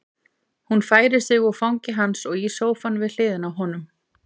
Hún færir sig úr fangi hans og í sófann við hliðina á honum.